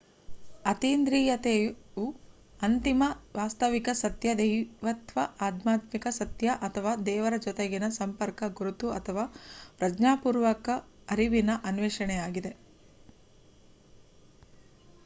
ಅತೀಂದ್ರಿಯತೆಯು ಅಂತಿಮ ವಾಸ್ತವಿಕ ಸತ್ಯ ದೈವತ್ವ ಆಧ್ಯಾತ್ಮಿಕ ಸತ್ಯ ಅಥವಾ ದೇವರ ಜೊತೆಗಿನ ಸಂಪರ್ಕ ಗುರುತು ಅಥವಾ ಪ್ರಜ್ಞಾಪೂರ್ವಕ ಅರಿವಿನ ಅನ್ವೇಷಣೆಯಾಗಿದೆ